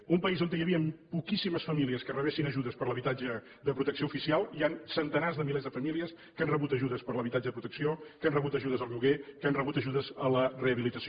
en un país on hi havien poquíssimes famílies que rebessin ajudes per l’habitatge de protecció oficial hi han centenars de milers de famílies que han rebut ajudes per l’habitatge de protecció que han rebut ajudes al lloguer que han rebut ajudes a la rehabilitació